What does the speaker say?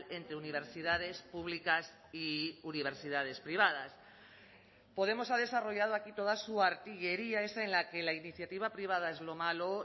entre universidades públicas y universidades privadas podemos ha desarrollado aquí toda su artillería esa en la que la iniciativa privada es lo malo